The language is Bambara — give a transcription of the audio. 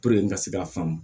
n ka se ka faamu